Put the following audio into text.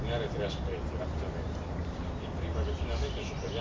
Vorrei per questo limitarmi a sottolineare tre aspetti, rapidamente.